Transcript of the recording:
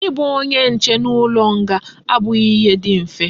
I bu onye nche n'ulo nga abughi ihe di mfe